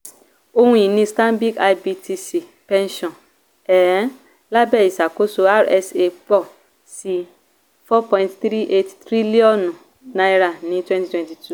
ohun-ìní stanbic ibtc pẹ́ńṣọ̀nì um lábẹ́ ìṣàkóso rsa pọ sí n4.38 tríllíọ̀nù ní 2022.